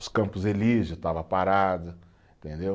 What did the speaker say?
Os Campos Elísios estava parado, entendeu?